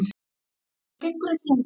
Þetta gengur ekki lengur.